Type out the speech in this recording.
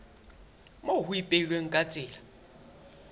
moo ho ipehilweng ka tsela